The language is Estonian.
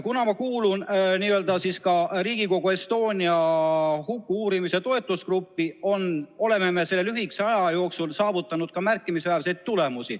Mina kuulun Riigikogu Estonia huku uurimise toetusgruppi ja me oleme selle lühikese aja jooksul saavutanud märkimisväärseid tulemusi.